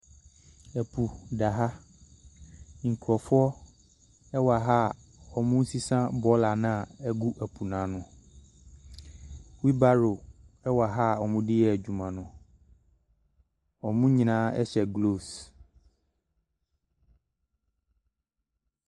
Ɛpo da ha. Nkurɔfoɔ wɔ ha a wɔresesa bɔɔla no a ɛgu po no ano. Wheel barro nam ha a wɔde reyɛ adwuma no. wɔn nyinaa hyɛ gloves.